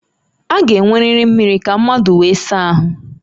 A ga-enweriri mmiri ka mmadụ wee saa ahụ